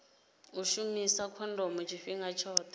u shumisa khondomo tshifhinga tshoṱhe